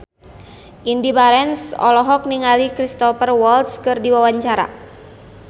Indy Barens olohok ningali Cristhoper Waltz keur diwawancara